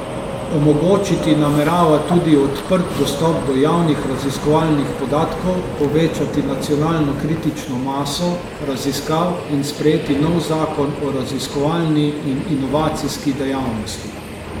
Omogočiti namerava tudi odprt dostop do javnih raziskovalnih podatkov, povečati nacionalno kritično maso raziskav in sprejeti nov zakon o raziskovalni in inovacijski dejavnosti.